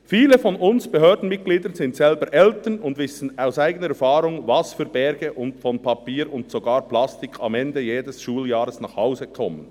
Viele von uns Behördenmitgliedern sind selber Eltern und wissen aus eigener Erfahrung, was für Berge von Papier und sogar Plastik am Ende jedes Schuljahres nach Hause kommen.